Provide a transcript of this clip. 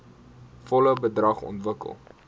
volle bedrag ontvang